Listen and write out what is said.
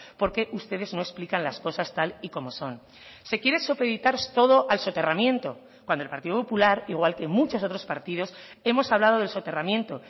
porque ustedes no explican las cosas tal y como son se quiere supeditar todo al soterramiento cuando el partido popular igual que muchos otros partidos hemos hablado del soterramiento